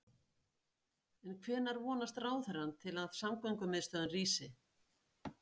En hvenær vonast ráðherrann til að samgöngumiðstöðin rísi?